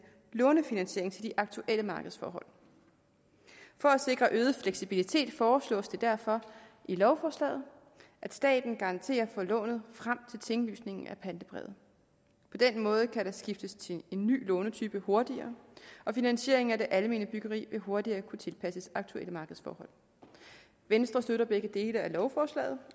lånefinansieringen til de aktuelle markedsforhold for at sikre øget fleksibilitet foreslås det derfor i lovforslaget at staten garanterer for lånet frem til tinglysningen af pantebrevet på den måde kan der skiftes til en ny lånetype hurtigere og finansiering af det almene byggeri vil hurtigere kunne tilpasses aktuelle markedsforhold venstre støtter begge dele af lovforslaget